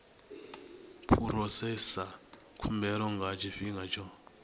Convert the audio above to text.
phurosesa khumbelo nga tshifhinga tsho